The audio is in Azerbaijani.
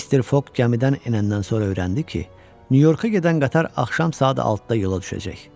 Mister Foq gəmidən enəndən sonra öyrəndi ki, Nyu-Yorka gedən qatar axşam saat 6-da yola düşəcək.